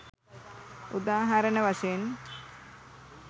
උදාහරණ වශයෙන්